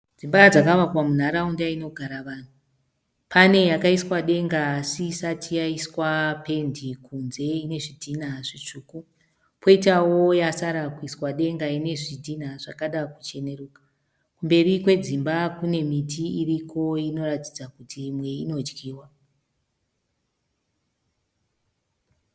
Dzimba dzakavakwa munharaunda inogara vanhu. Pane yakaiswa denga asi isati yaiswa pendi kunze ine zvidhina zvitsvuku. Kwoitawo yasara kuiswa denga ine zvidhina zvakada kucheneruka. Kumberi kwedzimba kune miti iriko inoratidza kuti imwe inodyiwa.